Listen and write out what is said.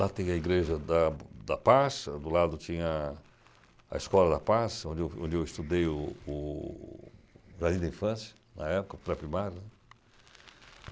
Lá tem a Igreja da da Paça, do lado tinha a Escola da Paça, onde eu estudei o o jardim da Infância, na época, o pré-primário.